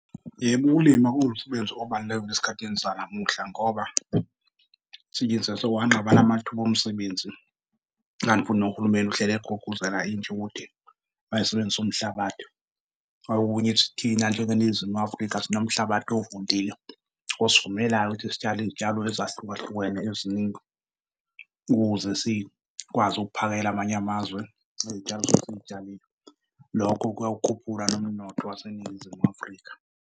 Yebo, ukulima kuwumsebenzi obalulekile isikhathi sanamuhla ngoba sekwanqaba namathuba omsebenzi kanti futhi nohulumeni uhleli egqugquzela intsha ukuthi mayisebenzise umhlabathi. Okunye thina njengeNingizimu Afrika sinomhlabathi ovundile osivumelayo ukuthi sitshale iy'tshalo ezahlukahlukene eziningi ukuze sikwazi ukuphakela amanye amazwe ngey'tshalo esuke siy'tshalile. Lokho kuyawukhuphula nomnotho waseNingizimu Afrika.